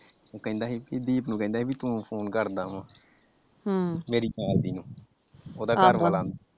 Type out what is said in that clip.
ਉਹ ਕਹਿੰਦਾ ਦੀਪ ਨੂੰ ਕਹਿੰਦਾ ਸੀ ਤੂੰ ਫੋਨ ਕਰਦਾ ਵਾ ਮੇਰੀ ਨਾਲਦੀ ਨੂੰ ਉਹਦਾ ਘਰਵਾਲਾ ।